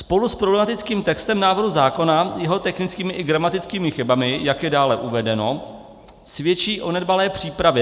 Spolu s problematickým textem návrhu zákona, jeho technickými i gramatickými chybami, jak je dále uvedeno, svědčí o nedbalé přípravě.